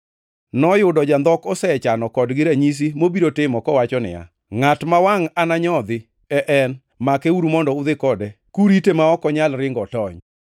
Noyudo jandhok osechano kodgi ranyisi mobiro timo kowacho niya, “Ngʼat ma wangʼ ananyodhi e En, makeuru mondo udhi kode kurite ma ok onyal ringo otony.”